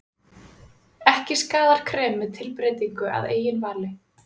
Ekki skaðar krem með tilbreytingu að eigin vali.